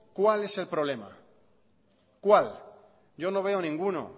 cuál es el problema cuál yo no veo ninguno